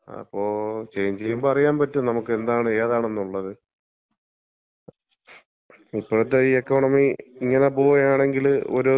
അപ്പം ചെയ്ഞ്ച് ചെയ്യുമ്പോ അറിയാൻ പറ്റും നമ്മക്ക് എന്താണ് ഏതാണെന്നുള്ളത്. ഇപ്പഴത്തെ ഈ എക്കോണമി ഇങ്ങനെ പോകുവാണെങ്കില് ഒരു